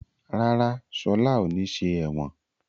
Rárá, Ṣọlá ò ní ṣe ẹ̀wọ̀n.